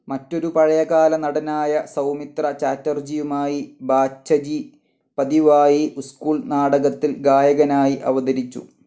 മറ്റൊരു പഴയ കാല നടനായ സൗമിത്ര ചാറ്റർജിയുമായി ബാച്ചജി പതിവായി സ്കൂൾ നാടകത്തിൽ ഗായകനായി അവതരിച്ചു.